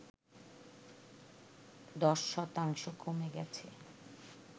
১০ শতাংশ কমে গেছে